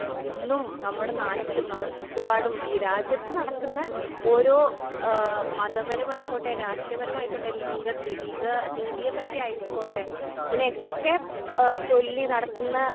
ഇന്നും നമ്മടെ നാട്ടില് നമ്മടെ ചുറ്റുപാടും ഈ രാജ്യത്ത് നടക്കുന്ന ഓരോ ആ മതപരമായിക്കോട്ടെ രാഷ്ട്രീയപരമായിക്കോട്ടെ ലിംഗ ലിംഗ നീതിയേ പറ്റിയായിക്കോട്ടെ ഇതിനെക്കെ ചൊല്ലി നടക്ക്ന്ന.